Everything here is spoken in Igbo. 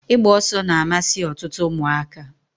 Igba oso na-amasi otutu umuaka.